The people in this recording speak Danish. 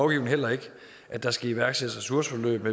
heller ikke at der skal iværksættes ressourceforløb